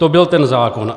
To byl ten zákon.